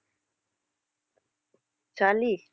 சளி